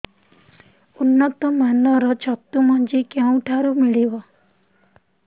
ଉନ୍ନତ ମାନର ଛତୁ ମଞ୍ଜି କେଉଁ ଠାରୁ ମିଳିବ